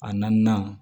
A naaninan